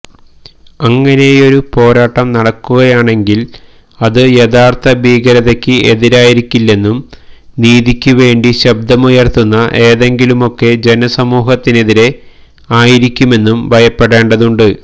അങ്ങനെയൊരു പോരാട്ടം നടക്കുകയാണെങ്കില് അതു യഥാര്ഥഭീകരതയ്ക്ക് എതിരായിരിക്കില്ലെന്നും നീതിക്കുവേണ്ടി ശബ്ദമുയര്ത്തുന്ന ഏതെങ്കിലുമൊക്കെ ജനസമൂഹത്തിനെതിരേ ആയിരിക്കുമെന്നും ഭയപ്പെടേണ്ടതുമുണ്ട്